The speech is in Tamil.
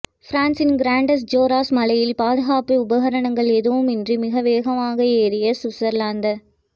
பிரான்ஸின் கிராண்டஸ் ஜோராஸஸ் மலையில் பாதுகாப்பு உபகரணங்கள் எதுவும் இன்றி மிக வேகமாக ஏறி சுவிட்ஸர்லாந